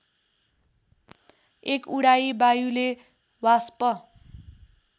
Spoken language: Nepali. १ उडाई वायुले वाष्प